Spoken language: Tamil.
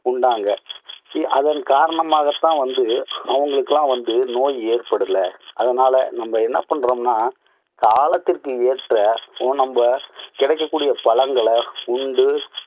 உண்டாங்க அதன் காரணமாக தான் வந்து, அவங்களுக்கெல்லாம் வந்து நோய் ஏற்படல. அதனால நம்ம என்ன பண்றோம்னா, காலத்திற்கு ஏற்ற, நம்ம கிடைக்கக்கூடிய பழங்களை உண்டு